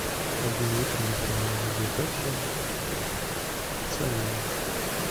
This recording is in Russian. один литр газированной воды пепси с ванилью